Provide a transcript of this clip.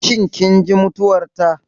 Shin kin ji mutuwar ta?